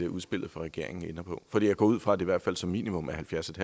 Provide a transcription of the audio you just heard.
udspillet fra regeringen ender på for jeg går ud fra at det i hvert fald som minimum er halvfjerds